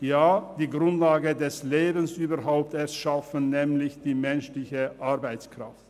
ja, sie schaffen überhaupt erst die Grundlage des Lebens, nämlich die menschliche Arbeitskraft.